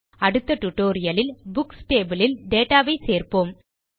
அடுத்த டியூட்டோரியல் லில் books table யில் டேட்டா ஐ சேர்ப்போம்